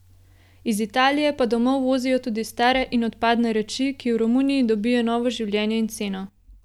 Iz Italije pa domov vozijo tudi stare in odpadne reči, ki v Romuniji dobijo novo življenje in ceno.